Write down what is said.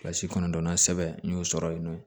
Kilasi kɔnɔntɔnnan sɛbɛn n y'o sɔrɔ yen nɔ